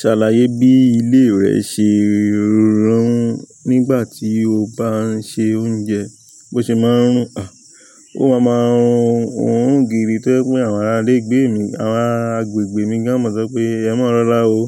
Ṣe àlàyé bí ilé rẹ̀ ṣe rùn nígbà tí oba ń ṣe oúnjẹ, bó ṣe man rùn --a ó rùn gidi tó jẹ́ wípé àwọn ara agbègbè mi gan. Ó má sọ pé "emarora o